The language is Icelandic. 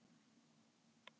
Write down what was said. Hvað viltu fá að vita?